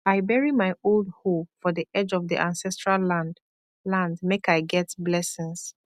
i bury my old hoe for the edge of the ancestral land land make i get blessings